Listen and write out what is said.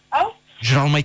ау жүре алмайды